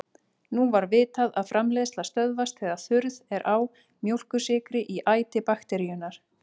Nú var vitað að framleiðsla stöðvast þegar þurrð er á mjólkursykri í æti bakteríunnar.